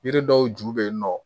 Yiri dɔw ju bɛ yen nɔ